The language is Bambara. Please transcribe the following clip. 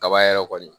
Kaba yɛrɛ kɔni